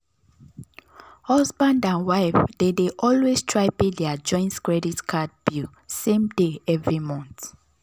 husband and wife dey dey always try pay their joint credit card bill same day every month.